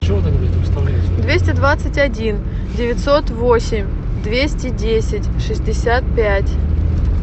двести двадцать один девятьсот восемь двести десять шестьдесят пять